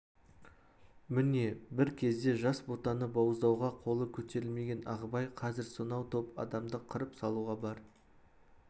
міне бір кезде жас ботаны бауыздауға қолы көтерілмеген ағыбай қазір сонау топ адамды қырып салуға бар